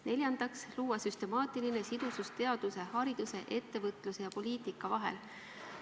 Neljandaks, luua süstemaatiline sidusus teaduse, hariduse, ettevõtluse ja poliitika vahel.